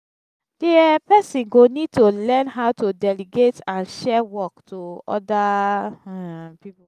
di um person go need to learn how to delegate and share work to oda pipo